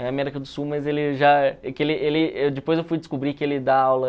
É a América do Sul, mas ele já... que ele ele... depois eu fui descobrir que ele dá aula...